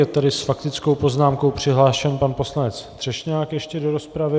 Je tady s faktickou poznámkou přihlášen pan poslanec Třešňák ještě do rozpravy.